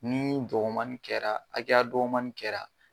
Ni dɔgɔmanni kɛra hakɛya dɔgɔmanni kɛra